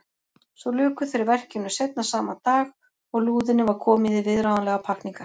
Svo luku þeir verkinu seinna sama dag og lúðunni var komið í viðráðanlegar pakkningar.